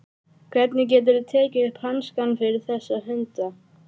Hvernig geturðu tekið upp hanskann fyrir þessa hunda?